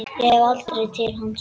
Ég hef farið til hans.